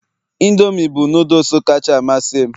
indomie bụ noodles kacha amasị m